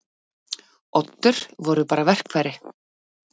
Oddur voru bara verkfæri.